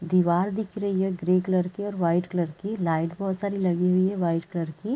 दीवार दिख रही है ग्रे कलर की और वाइट कलर की लाइट् बहुत सारी लगी हुई है वाइट कलर के--